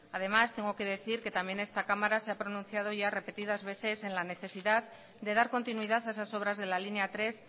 además tengo que decir que también esta cámara se ha pronunciado ya repetidas veces en la necesidad de dar continuidad a esas obras de la línea tres